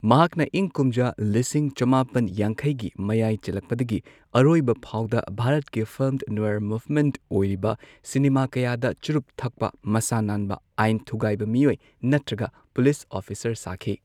ꯃꯍꯥꯛꯅ ꯏꯪ ꯀꯨꯝꯖꯥ ꯂꯤꯁꯤꯡ ꯆꯃꯥꯄꯟ ꯌꯥꯡꯈꯩꯒꯤ ꯃꯌꯥꯏ ꯆꯜꯂꯛꯄꯗꯒꯤ ꯑꯔꯣꯏꯕ ꯐꯥꯎꯗ, ꯚꯥꯔꯠꯀꯤ ꯐꯤꯜꯝ ꯅꯣꯏꯔ ꯃꯨꯚꯃꯦꯟꯠ ꯑꯣꯏꯔꯤꯕ ꯁꯤꯅꯦꯃꯥ ꯀꯌꯥꯗ ꯆꯨꯔꯨꯞ ꯊꯛꯄ ꯃꯁꯥ ꯅꯥꯟꯕ ꯑꯥꯢꯟ ꯊꯨꯒꯥꯢꯕ ꯃꯤꯑꯣꯢ ꯅꯠꯇ꯭ꯔꯒ ꯄꯨꯂꯤꯁ ꯑꯣꯐꯤꯁꯥꯔ ꯁꯥꯈꯤ꯫